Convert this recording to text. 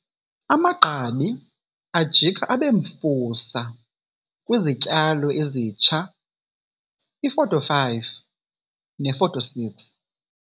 Amagqabi ajika abe mfusa kwizityalo ezitsha. iFoto 5 neFoto 6.